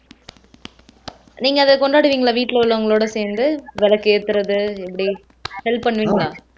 நீங்க அத கொண்டாடுவீங்களா வீட்டிலே உள்ளவங்களோட சேர்ந்து விளக்கேத்துறது எப்படி help பண்ணுவீங்களா